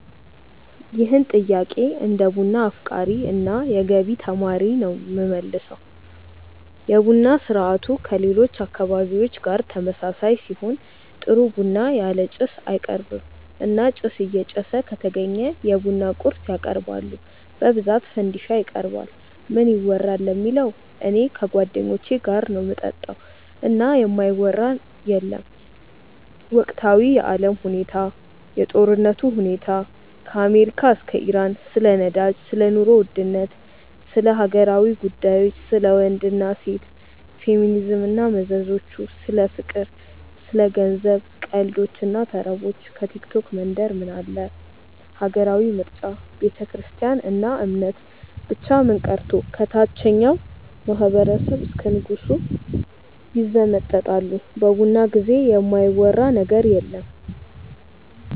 ይህን ጥያቄ እንደ ቡና አፍቃሪ እና የገቢ ተማሪ ነው የምመልሰው። የቡና ስርአቱ ከሌሎች አካባቢዎች ጋር ተመሳሳይ ሲሆን ጥሩ ቡና ያለ ጭስ አይቀርብም እና ጭስ እየጨሰ ከተገኘ የቡና ቁርስ ያቀርባሉ በብዛት ፈንዲሻ ይቀርባል። ምን ይወራል ለሚለው እኔ ከጓደኞቼ ጋር ነው ምጠጣው እና የማይወራ የለም ወቅታዊ የአለም ሁኔታ፣ የጦርነቱ ሁኔታ ከአሜሪካ እስከ ኢራን፣ ስለ ነዳጅ፣ ስለ ኑሮ ውድነት፣ ስለ ሀገራዊ ጉዳዮች፣ ስለ ወንድ እና ሴት፣ ፌሚኒዝም እና መዘዞቹ፣ ስለ ፍቅር፣ ስለ ገንዘብ፣ ቀልዶች እና ተረቦች፣ ከቲክቶክ መንደር ምን አለ፣ ሀገራዊ ምርጫ፣ ቤተክርስትያን እና እምነት፣ ብቻ ምን ቀርቶ ከታቸኛው ማህበረሰብ እስከ ንጉሱ ይዘመጠጣሉ በቡና ጊዜ የማይወራ ነገር የለም።